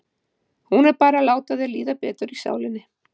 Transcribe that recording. Hún er bara til að láta þér líða betur í sálinni.